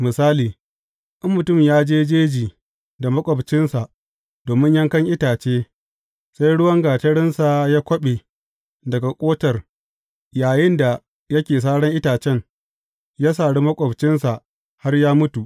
Misali, in mutum ya je jeji da maƙwabcinsa domin yankan itace, sai ruwan gatarinsa ya kwaɓe daga ƙotar yayinda yake saran itacen, ya sari maƙwabcin har ya mutu.